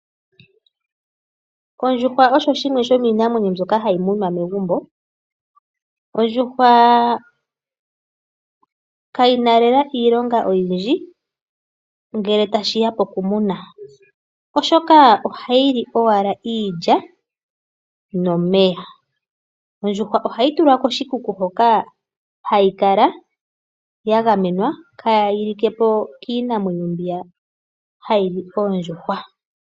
Ondjuhwa osho shimwe shomiinamwenyo mbyoka hayi munwa megumbo. Ondjuhwa kayi na lela iilonga oyindji, ngele tashi ya pokumuna, oshoka ohayi li owala iilya nomeya. Ondjuhwa ohayi tulwa koshikuku hoka hayi kala ya gamenwa kaayi like po kiinamwenyo mbiya hayi li oondjuhwa.